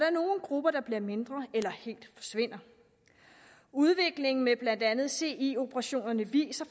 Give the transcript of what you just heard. er nogle grupper der bliver mindre eller helt forsvinder udviklingen i blandt andet ci operationerne viser